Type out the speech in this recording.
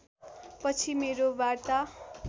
पछि मेरो वार्ता